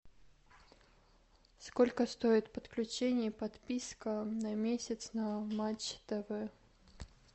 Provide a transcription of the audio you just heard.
сколько стоит подключение и подписка на месяц на матч тв